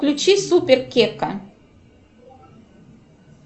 включи супер кека